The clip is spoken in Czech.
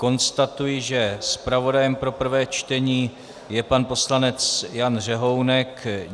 Konstatuji, že zpravodajem pro prvé čtení je pan poslanec Jan Řehounek.